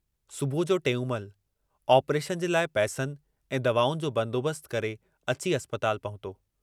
सुबुह जो टेऊंमल आपरेशन जे लाइ पैसनि ऐं दवाउनि जो बंदोबस्तु करे अची अस्पताल पहुतो।